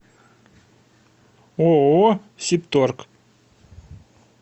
ооо сибторг